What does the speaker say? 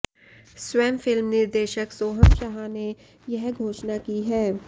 स्वयं फिल्म निर्देशक सोहम शाह ने यह घोषणा की है